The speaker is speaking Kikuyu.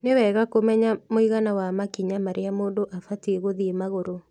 Nĩ wega kũmenya mũigana wa makinya marĩa mũndũ abatiĩ gũthiĩ magũrũ